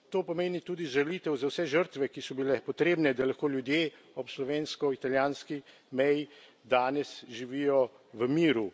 To pomeni tudi žalitev za vse žrtve, ki so bile potrebne, da lahko ljudje ob slovensko italijanski meji danes živijo v miru.